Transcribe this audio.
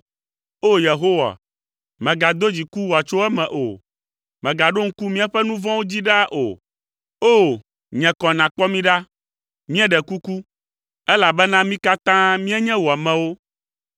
O! Yehowa, mègado dziku wòatso eme o. Mègaɖo ŋku míaƒe nu vɔ̃wo dzi ɖaa o. O, nye kɔ nàkpɔ mi ɖa, mieɖe kuku, elabena mí katã míenye wò amewo.